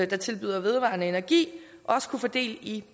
der tilbyder vedvarende energi også kunne få del i